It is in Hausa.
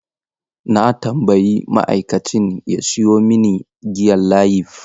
Na tambayi ma'aikacin ya samo mini giyan Layif.